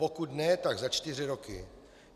Pokud ne, tak za čtyři roky.